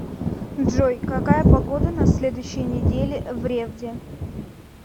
джой какая погода на следующей неделе в ревде